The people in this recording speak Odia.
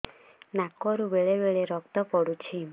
ନାକରୁ ବେଳେ ବେଳେ ରକ୍ତ ପଡୁଛି